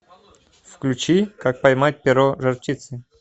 включи как поймать перо жар птицы